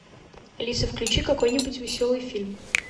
алиса включи какой нибудь веселый фильм